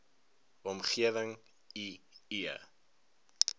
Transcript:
omgewing i e